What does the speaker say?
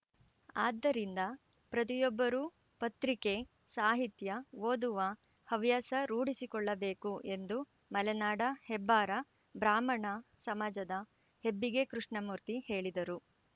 ಆದ್ದರಿಂದ ಪ್ರತಿಯೊಬ್ಬರೂ ಪತ್ರಿಕೆ ಸಾಹಿತ್ಯ ಓದುವ ಹವ್ಯಾಸ ರೂಡಿಸಿಕೊಳ್ಳಬೇಕು ಎಂದು ಮಲೆನಾಡ ಹೆಬ್ಬಾರ ಬ್ರಾಹ್ಮಣ ಸಮಾಜದ ಹೆಬ್ಬಿಗೆ ಕೃಷ್ಣಮೂರ್ತಿ ಹೇಳಿದರು